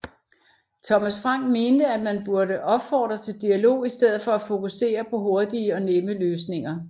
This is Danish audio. Thomas Frank mente at man burde opfordre til dialog i stedet for at fokusere på hurtige og nemme løsninger